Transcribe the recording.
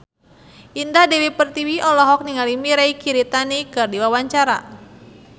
Indah Dewi Pertiwi olohok ningali Mirei Kiritani keur diwawancara